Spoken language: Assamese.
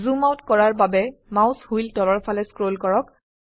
জুম আউট কৰাৰ বাবে মাউস হুইল তলৰ ফালে স্ক্ৰল কৰক